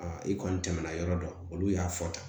i kɔni tɛmɛna yɔrɔ dɔ olu y'a fɔ tan